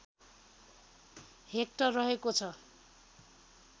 hectare रहेको छ